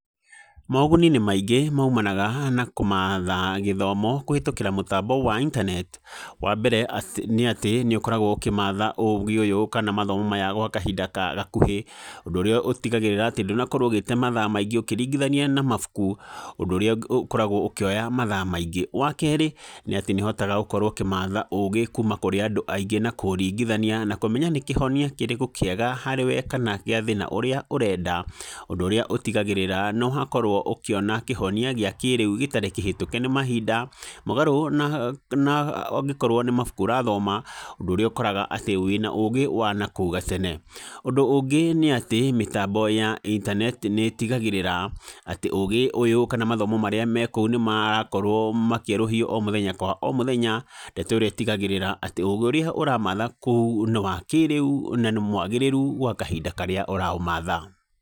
Moguni nĩ maingĩ maimanaga na kũmatha gĩthomo, kũhetũkĩra mũtambo wa intaneti, wa mbere nĩ atĩ, nĩ ũkoragwo ũkĩmatha ũgĩ ũyũ kana mathoma maya gwa kahinda ka gakuhĩ, ũndũ ũrĩa ũtigagĩrĩra ndũnakorwo ũgĩte mathaa maingĩ ũkĩringithania na mabuku, ũndũ ũrĩa ũkoragwo ũkĩoya mathaa maingĩ, wa kerĩ, nĩ atĩ nĩ ũhotaga gũkorwo ũkĩmatha ũgĩ kuuma kũrĩ andũ aingĩ, na kũmaringithania na kũmenya nĩkĩhonia kĩrĩkũ kĩega harĩwe kana gĩa thĩna ũrĩa ũretha, ũndũ ũrĩa ũtigagĩrĩra nĩ wakorwo ũkĩona kĩhonia gĩakĩrĩu gĩtarĩ kĩhetũke nĩ mahinda, mũgaro na na angĩkorwo nĩ mabuku ũrathoma, ũndũ ũrĩa koraga wĩna ũgĩ wanakũu gatene, ũndũ ũngĩ nĩ atĩ, mĩtambo ya intaneti nĩ tigagĩrĩra atĩ ũgĩ ũyũ, kana mathomo marĩa mekũu, nĩ makorwo makĩerũhio o mũthenya kwa o mũthenya, ndeto ĩrĩa ĩtigagĩrĩra atĩ ũgĩ ũrĩa ũramatha kũu, nĩ wa kĩrĩu, na nĩ mwagĩrĩru gwa kahinda karĩa ũraũmatha.